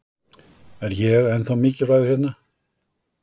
Er ég ennþá mikilvægur hérna?